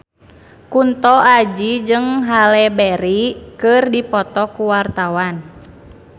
Kunto Aji jeung Halle Berry keur dipoto ku wartawan